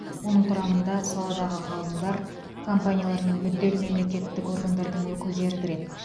оның құрамына саладағы ғалымдар компаниялар мен мүдделі мемлекеттік органдардың өкілдері кіреді